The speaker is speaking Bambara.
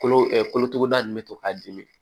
Kolo kolotuguda ninnu bɛ to k'a dimi